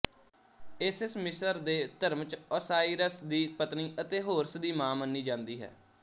Isis ਮਿਸਰ ਦੇ ਧਰਮ ਚ ਔਸਾਈਰਸ ਦੀ ਪਤਨੀ ਅਤੇ ਹੋਰਸ ਦੀ ਮਾਂ ਮੰਨੀ ਜਾਂਦੀ ਹੈ